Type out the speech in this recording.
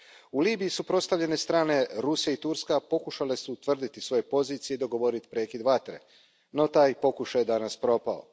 U Libiji suprotstavljene strane Rusija i Turska pokušale su utvrditi svoje pozicije i dogovoriti prekid vatre, no taj pokušaj je danas propao.